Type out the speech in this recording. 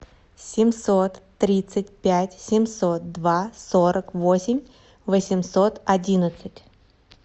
семьсот тридцать пять семьсот два сорок восемь восемьсот одиннадцать